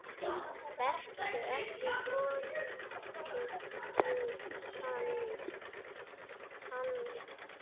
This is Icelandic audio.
Vertu ekki vondur við hana.